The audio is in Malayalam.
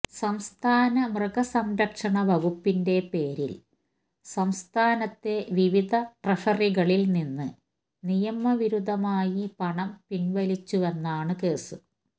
സംസ്ഥാന മൃഗസംരക്ഷണ വകുപ്പിന്റെ പേരില് സംസ്ഥാനത്തെ വിവിധ ട്രഷറികളില് നിന്ന് നിയമവിരുദ്ധമായി പണം പിന്വലിച്ചുവെന്നാണ് കേസ്